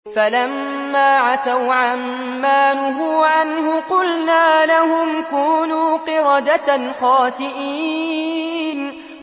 فَلَمَّا عَتَوْا عَن مَّا نُهُوا عَنْهُ قُلْنَا لَهُمْ كُونُوا قِرَدَةً خَاسِئِينَ